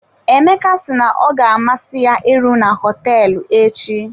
Emeka si na ọ ga amasị ya iru na hotel echi.